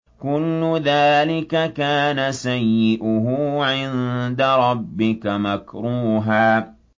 كُلُّ ذَٰلِكَ كَانَ سَيِّئُهُ عِندَ رَبِّكَ مَكْرُوهًا